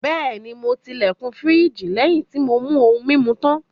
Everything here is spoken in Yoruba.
Bẹ́ẹ̀ni, mo ti ilẹ̀kùn firiji lẹ́yìn tí mo mú ohun-mímu tán.